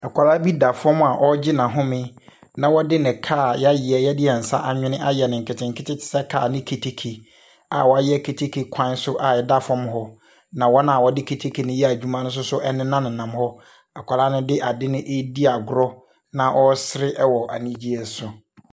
Akwalaa bi da fɔm a ɔgye N'ahome. na ɔde ne kaa a yayɛ, yɛde yɛnsa anwene ayɛ no nketenkete tesɛ kaa ne keteke. A wayɛ keteke kwan so a ɛda fɔm hɔ, na wɔn a wɔde keteke no yɛ adwuma nso ɛnena nenam hɔ. Akwalaa no de adeɛ no edi agorɔ, na ɔsere ɛwɔ anigyeɛ so.